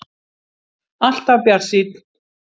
Alltaf bjartsýnn!